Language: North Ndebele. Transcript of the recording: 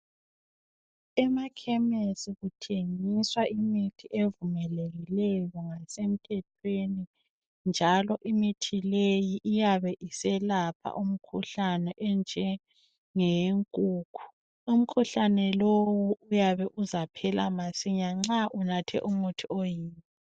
Emakhemesi kuthengiswa imithi evumelekileyo ngasemthethweni njalo imithi leyi iyabe iselapha imikhuhlane enjengeyenkukhu. Umkhuhlane lowu uyabe uzaphela masinya nxa unathe umuthi oyiwo.